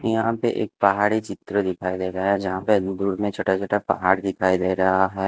यहां पे एक पहाड़ी चित्र दिखाई दे रहा है यहां पे दूर दूर में छोटा-छोटा पहाड़ दिखाई दे रहा है।